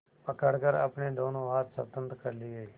पकड़कर अपने दोनों हाथ स्वतंत्र कर लिए